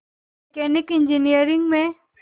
mechanical engineering में